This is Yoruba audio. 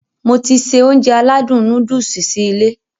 Mo ti se Ounjẹ aládùn nóódùsì sí ilé